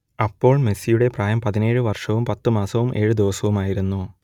അപ്പോൾ മെസ്സിയുടെ പ്രായം പതിനേഴ് വർഷവും പത്ത് മാസവും ഏഴ് ദിവസവുമായിരുന്നു